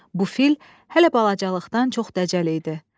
Bu fil hələ balacalıqdan çox dəcəl idi.